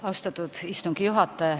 Austatud istungi juhataja!